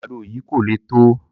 Àgbàdo yìí kò le tó.